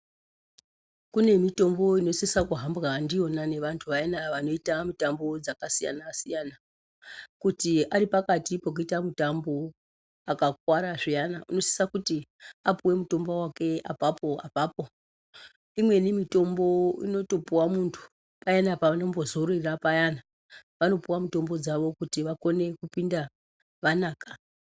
Kune mitombo inosisa kuhamba ndiwona ngevantu vaya vanoita mitambo dzakasiyana siyana kuti vari pakati pokuita mutambo akakwara zviyanai unosisa kuti apihwe mutombo wake apapo apapo , imweni mitombo inotopuwa muntu, payani paunombo zororera payana vanopuwa mutombo dzawo kuti vakone kupinda vanaka.